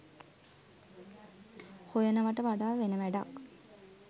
හොයනවාට වඩා වෙන වැඩක්